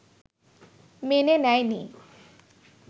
মেনে নেয়নি